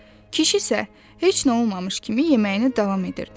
kişi isə heç nə olmamış kimi yeməyini davam edirdi.